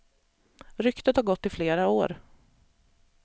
Ryktet har gått i flera år.